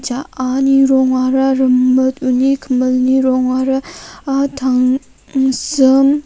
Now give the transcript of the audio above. ja·ani rongara rimit uni kimilni rongara ah tangsim --